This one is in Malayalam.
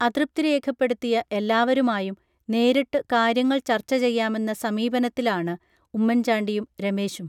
അതൃപ്തി രേഖപ്പെടുത്തിയ എല്ലാവരുമായും നേരിട്ടു കാര്യങ്ങൾ ചർച്ച ചെയ്യാമെന്ന സമീപനത്തിലാണ് ഉമ്മൻചാണ്ടിയും രമേശും